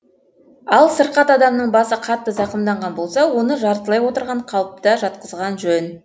ал сырқат адамның басы қатты зақымданған болса оны жартылай отырған қалыпта жатқызған жөн